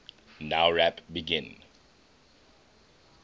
nowrap begin